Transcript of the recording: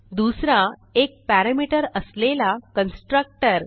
दुसरा एक पॅरामीटर असलेला कन्स्ट्रक्टर